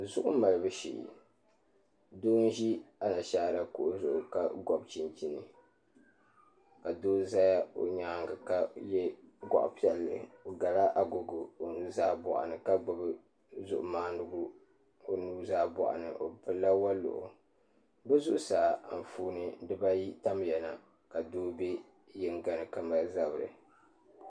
Zuɣu malibu shee doo n ʒi Anashaara kuɣu zuɣu ka gobi chinchin ka doo ʒɛ o nyaangi ka yɛ goɣa piɛlli o gala agogo omaa nuzaa ni ka gbubi zuɣu maandigu o nuzaa boɣani o gbubila woliɣi bi zuɣusaa Anfooni dibayi n tabiya la ka doo bɛ yinga ni ka mali zabiri